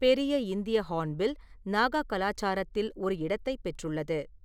பெரிய இந்திய ஹார்ன்பில் நாகா கலாச்சாரத்தில் ஒரு இடத்தைப் பெற்றுள்ளது.